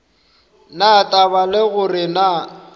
na taba le gore na